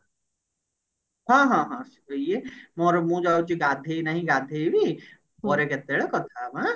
ହଁ ହଁ ହଁ ଇଏ ମୋର ମୁଁ ଯାଉଛି ଗାଧେଇ ନାହିଁ ଗାଧେଇବି ପରେ କେତେବେଳେ କଥା ହେବା ଆଁ